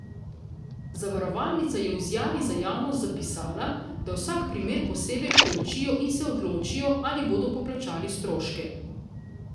Zavarovalnica je v izjavi za javnost zapisala, da vsak primer posebej preučijo in se odločijo, ali bodo poplačali stroške.